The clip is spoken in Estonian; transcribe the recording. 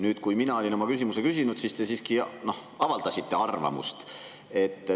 Nüüd, kui ma olin oma küsimuse küsinud, te siiski avaldasite oma arvamust.